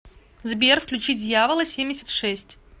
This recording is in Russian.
сбер включи дьявола семьдесят шесть